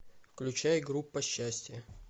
включай группа счастья